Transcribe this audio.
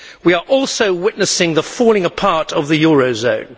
We are also witnessing the falling apart of the euro zone.